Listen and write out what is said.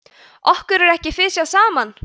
okkur er ekki fisjað saman!